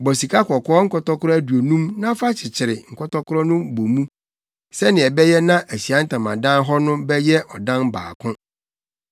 Bɔ sikakɔkɔɔ nkɔtɔkoro aduonum na fa kyekyere nkɔtɔkoro no bɔ mu, sɛnea ɛbɛyɛ na Ahyiae Ntamadan hɔ no bɛyɛ ɔdan baako.